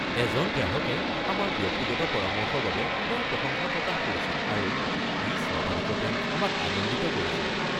এজন গ্ৰাহকে আমাৰ ব্যক্তিগত পৰামৰ্শৰ বাবে তেওঁৰ প্ৰশংসা প্ৰকাশ কৰিছিল আৰু ই স্বাভাৱিকতে আমাক আনন্দিত কৰিছিল।